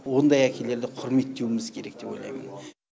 ондай әкелерді құрметтеуіміз керек деп ойлаймын